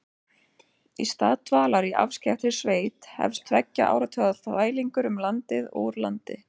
Í stað dvalar í afskekktri sveit hefst tveggja áratuga þvælingur um landið og úr landi.